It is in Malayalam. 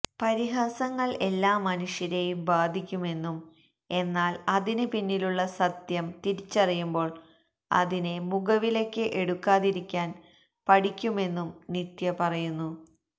പരിഹസങ്ങൾ എല്ലാ മനുഷ്യരെയും ബാധിക്കുമെന്നും എന്നാൽ അതിന് പിന്നിലുള്ള സത്യം തിരിച്ചറിയുമ്പോൾ അതിനെ മുഖവിലയ്ക്ക് എടുക്കാതിരിക്കാൻ പഠിക്കുമെന്നും നിത്യ പറയുന്നു